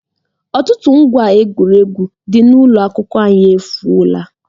Ọtụtụ ngwá egwuregwu dị n'ụlọ akwụkwọ anyị efuola